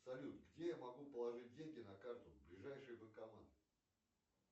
салют где я могу положить деньги на карту ближайший банкомат